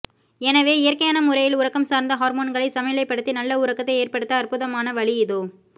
எனவே இயற்கையான முறையில் உறக்கம் சார்ந்த ஹார்மோன்களை சமநிலைப்படுத்தி நல்ல உறக்கத்தை ஏற்படுத்த அற்புதமான வழி இதோ